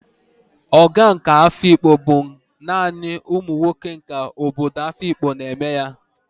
Ogo nke Afikpo bụ naanị ụmụ nwoke nke obodo Afikpo na-eme ya